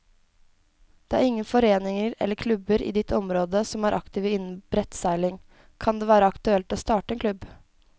Er det ingen foreninger eller klubber i ditt område som er aktive innen brettseiling, kan det være aktuelt å starte en klubb.